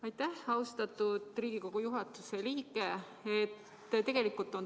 Aitäh, austatud Riigikogu juhatuse liige!